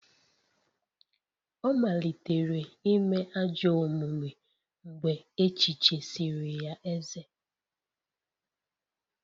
Ọ malitere ime ajọ omume mgbe echichisịrị ya eze